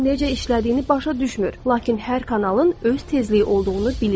Bu necə işlədiyini başa düşmür, lakin hər kanalın öz tezliyi olduğunu bilirik.